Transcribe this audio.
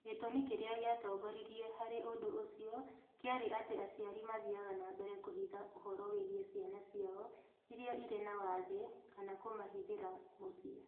Gĩtũmi kĩrĩa gĩatongoririe harĩ ũndũ ũcio kĩarĩ atĩ aciari mathiaga na mbere kũhitha ũhoro wĩgiĩ ciana ciao iria irĩ na wathe kana kũmahithĩra mũciĩ.